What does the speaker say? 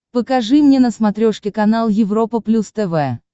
покажи мне на смотрешке канал европа плюс тв